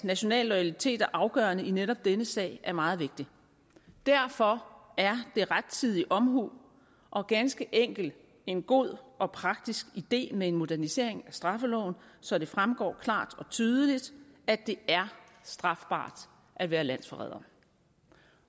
national loyalitet er afgørende i netop denne sag er meget vigtig derfor er det rettidig omhu og ganske enkelt en god og praktisk idé med en modernisering af straffeloven så det fremgår klart og tydeligt at det er strafbart at være landsforræder